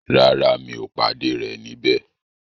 Rárá, mi ò pàdé rẹ̀ níbẹ̀.